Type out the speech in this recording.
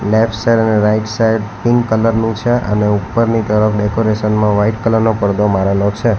Left side અને right side pink colour નું છે અને ઉપરની તરફ ડેકોરેશન માં વાઈટ કલર નો પડદો મારેલો છે.